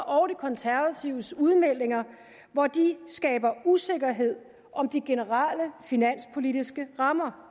og de konservatives udmeldinger hvor de skaber usikkerhed om de generelle finanspolitiske rammer